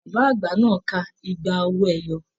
Bàbá àgbà náà ká igba owó ẹyọ.